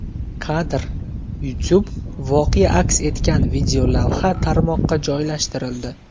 Kadr: YouTube Voqea aks etgan videolavha tarmoqqa joylashtirildi.